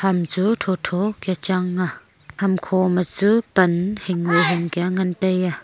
ham chu tho tho ka chang a hamkho ma chu pan hing hing ka ngan tai a.